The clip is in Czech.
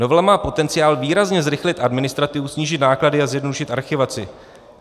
Novela má potenciál výrazně zrychlit administrativu, snížit náklady a zjednodušit archivaci.